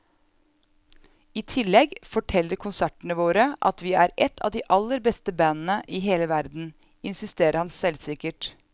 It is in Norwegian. I tillegg forteller konsertene våre at vi er et av de aller beste bandene i hele verden, insisterer han selvsikkert.